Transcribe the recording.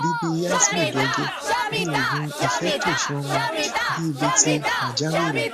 bibi yasmin gẹgẹ bí oògùn ifetosomo bibi ti pajawiri